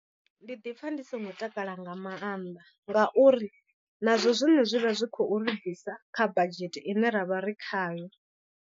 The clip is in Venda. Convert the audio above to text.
Ndi ḓipfa ndi songo takala nga maanḓa ngauri nazwo zwine zwi vha zwi khou ri bvisa kha badzhete ine ra vha ri khayo.